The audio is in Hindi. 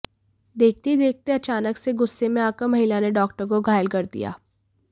देखते ही देखते अचानक से गुस्से में आकर महिला ने डॉक्टर को घायल कर दिया